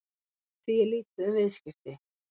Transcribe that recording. Því er lítið um viðskipti